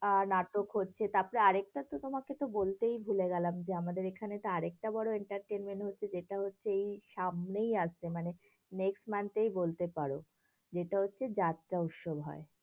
আ নাটক হচ্ছে, তারপর আরেকটা তো তোমাকে তো বলতেই ভুলে গেলাম যে, আমাদের এখানে তো আরেকটা বড় entertainment হচ্ছে, যেটা হচ্ছে এই সামনেই আসছে মানে next month এই বলতে পারো, যেটা হচ্ছে যাত্রা উৎসব হয়।